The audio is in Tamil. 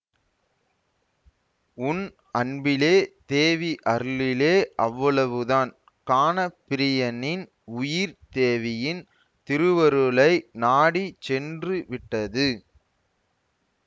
உன் அன்பிலே தேவி அருளிலே அவ்வளவுதான் கானப்பிரியனின் உயிர் தேவியின் திருவருளை நாடி சென்றுவிட்டது